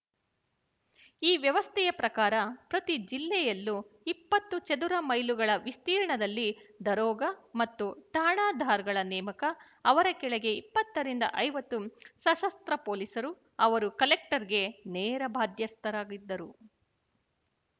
ಈ ವ್ಯವಸ್ಥೆಯ ಪ್ರಕಾರ ಪ್ರತಿ ಜಿಲ್ಲೆಯಲ್ಲೂ ಇಪ್ಪತ್ತು ಚದುರ ಮೈಲುಗಳ ವಿಸ್ತೀರ್ಣದಲ್ಲಿ ದರೋಗ ಮತ್ತು ಠಾಣದಾರ್‍ಗಳ ನೇಮಕ ಅವರ ಕೆಳಗೆ ಇಪ್ಪತ್ತು ರಿಂದ ಐವತ್ತು ಸಶಸ್ತ್ರ ಪೋಲೀಸರು ಅವರು ಕಲೆಕ್ಟರ್‌ಗೆ ನೇರ ಬಾಧ್ಯಸ್ಥರಾಗಿದ್ದರು